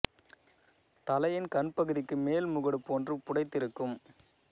தலையின் கண் பகுதிக்கு மேல் முகடு போன்று புடைத்து இருக்கும்